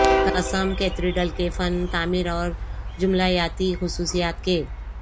قسم کیتیڈرل کے فن تعمیر اور جمالیاتی خصوصیات کے